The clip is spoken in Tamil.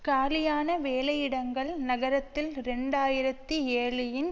காலியான வேலையிடங்கள் நகரத்தில் இரண்டு ஆயிரத்தி ஏழுஇன்